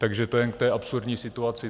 Takže to jen k té absurdní situaci.